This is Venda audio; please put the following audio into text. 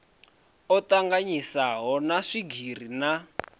o tanganyiswaho na swigiri na